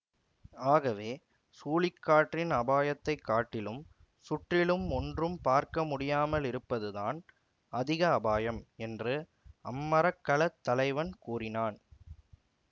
ஆகவே சூழிக்காற்றின் அபாயத்தைக் காட்டிலும் சுற்றிலும் ஒன்றும் பார்க்க முடியாமலிருப்பதுதான் அதிக அபாயம் என்று அம்மரக்கலத் தலைவன் கூறினான்